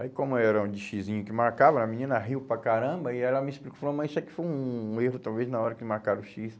Aí como era um de xisinho que marcava, a menina riu para caramba e ela me explicou, falou, mas isso aqui foi um erro talvez na hora que marcaram o xis.